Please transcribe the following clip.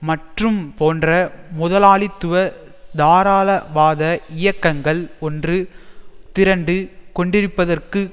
மற்றும் போன்ற முதலாளித்துவ தாராளவாத இயக்கங்கள் ஒன்று திரண்டு கொண்டிருப்பதற்கு